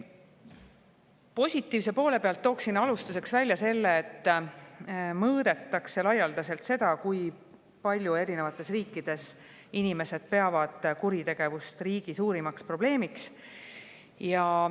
Positiivse poole pealt tooksin alustuseks välja selle, et mõõdetakse laialdaselt seda, kui palju peavad inimesed eri riikides kuritegevust riigi suurimaks probleemiks.